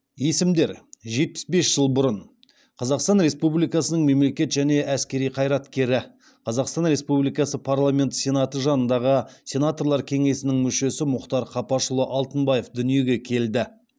есімдер жетпіс бес жыл бұрын қазақстан республикасының мемлекет және әскери қайраткері қазақстан республикасы парламенті сенаты жанындағы сенаторлар кеңесінің мүшесі мұхтар қапашұлы алтынбаев дүниеге келді